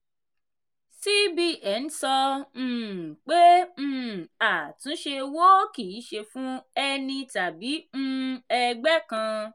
cbn sọ um pé um àtúnṣe owó kìí ṣe fún ẹni tàbí um ẹgbẹ́ kan.